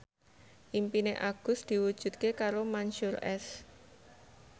impine Agus diwujudke karo Mansyur S